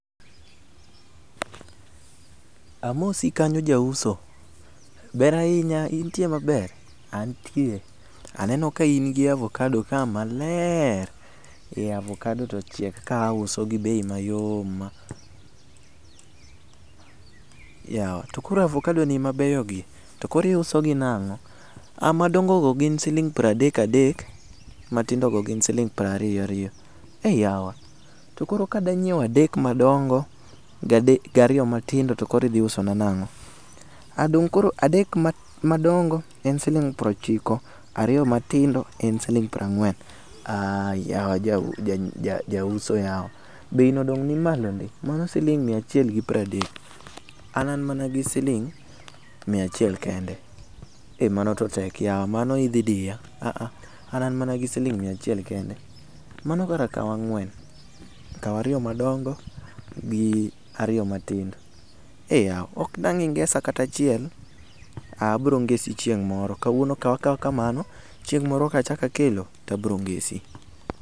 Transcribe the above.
Amosi kanyo ja uso, ber ahinya intie maber ,antie, aneno ka in gi avokado ka maler, ee avokado to ochiek ka auso gi bei mayom ma, yawa to koro avokado ni mabeyo gi to koro iuso gi nango? modongo go gin siling piero adek adek matindo go gin siling piero ariyo ariyo, ee yawa to koro kadwa nyiewo adek madongo gi matindo ariyo tok koro idhi uso na nango? Aaa koro adek madongo gin siling piero ochiko ariyo matindo en siling piero angwen, aa yawa jauso yawa, bei no dong ni malo ndi mano siling mia achiel gi piero adek, an mana gi siling mia achiel kende, ee mano to tek yawa mano idhi diya a a an mana gi siling mia achiel kende, mano kara kaw ang'wen, kaw ariyo madongo gi ariyo matindo ,ee yaw ok dang ingesa kata achiel, aa abiro ng'esi chieng moro, kawuono kaw akawa kamano chieng moro ka achak akelo, to abiro ngesi